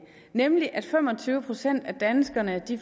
nemlig at fem og tyve procent af danskerne